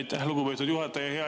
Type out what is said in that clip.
Aitäh, lugupeetud juhataja!